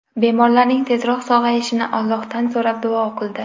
Bemorlarning tezroq sog‘ayishini Allohdan so‘rab, duo o‘qildi.